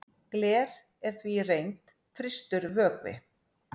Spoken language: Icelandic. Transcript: gler er því í reynd frystur vökvi